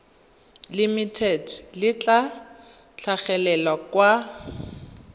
limited le tla tlhagelela kwa